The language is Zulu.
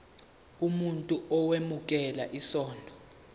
umuntu owemukela isondlo